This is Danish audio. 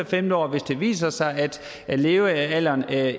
femte år og hvis det viser sig at levealderen